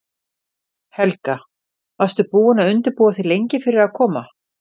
Helga: Varstu búin að undirbúa þig lengi fyrir að koma?